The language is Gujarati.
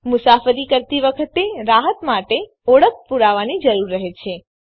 મુસાફરી કરતી વખતે રાહત માટે ઓળખ પુરાવાની જરૂર રહે છે